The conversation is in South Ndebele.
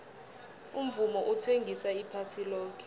umvumo uthengisa iphasi loke